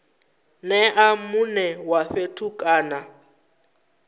nea mune wa fhethu kana